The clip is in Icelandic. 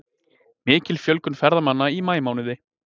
Mikil fjölgun ferðamanna í maímánuði